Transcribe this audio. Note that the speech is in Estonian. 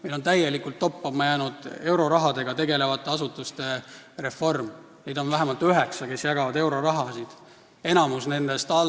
Meil on täielikult toppama jäänud eurorahaga tegelevate asutuste reform, neid asutusi, mis jagavad euroraha, on vähemalt üheksa.